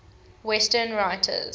western writers